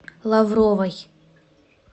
лавровой